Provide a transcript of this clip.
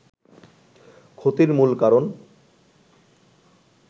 ক্ষতির মূল কারণ